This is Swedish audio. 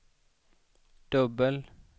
dubbel